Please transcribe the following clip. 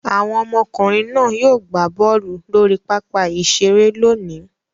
Àwọn ọmọkùnrin náà yóò gbá bọ́ọ́lù lórí pápá-ìṣeré lónìí.